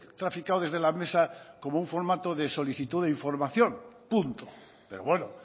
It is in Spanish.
traficado desde la mesa como un formato de solicitud de información punto pero bueno